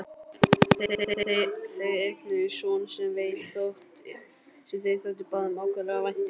Þau eignuðust son sem þeim þótti báðum ákaflega vænt um.